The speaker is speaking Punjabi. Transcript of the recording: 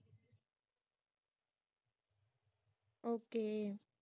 okay